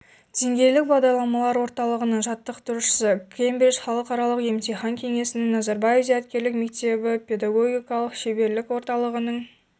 деңгейлік бағдарламалар орталығының жаттықтырушысы кембридж халықаралық емтихан кеңесінің назарбаев зияткерлік мектебіпедагогикалық шеберлік орталығының